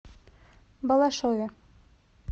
балашове